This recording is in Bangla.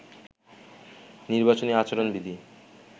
নির্বাচনী আচরণ বিধি